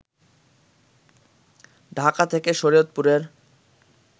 ঢাকা থেকে শরিয়তপুরের